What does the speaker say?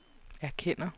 erkender